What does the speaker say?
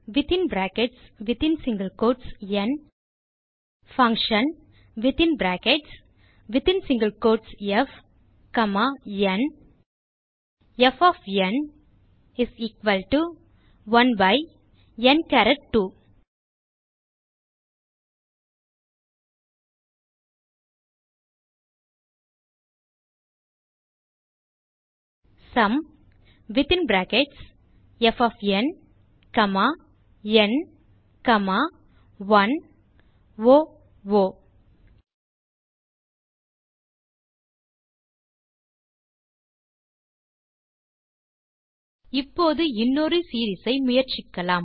varந் functionப் ந் ப் 1n2 sumப் ந் 1 ஓ நாம் இப்போது இன்னொரு சீரீஸ் ஐ முயற்சிக்கலாம்